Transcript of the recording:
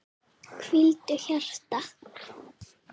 Hvíldu hjarta.